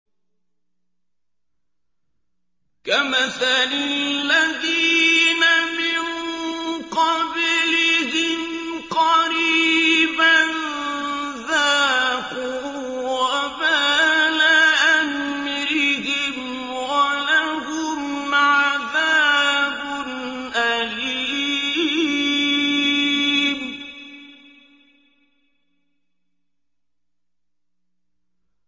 كَمَثَلِ الَّذِينَ مِن قَبْلِهِمْ قَرِيبًا ۖ ذَاقُوا وَبَالَ أَمْرِهِمْ وَلَهُمْ عَذَابٌ أَلِيمٌ